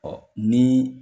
Ɔ ni